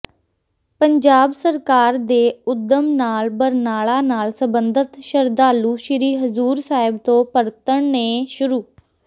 ਪੰਜਾਬ ਸਰਕਾਰ ਦੇ ਉਦਮ ਨਾਲ ਬਰਨਾਲਾ ਨਾਲ ਸਬੰਧਤ ਸ਼ਰਧਾਲੂ ਸ੍ਰੀ ਹਜ਼ੂਰ ਸਾਹਿਬ ਤੋਂ ਪਰਤਣੇ ਸ਼ੁਰੂ